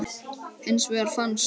Hins vegar fannst